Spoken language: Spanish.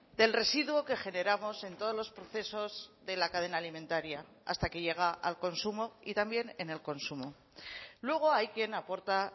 del residuo que generamos en todos los procesos de la cadena alimentaria hasta que llega al consumo y también en el consumo luego hay quien aporta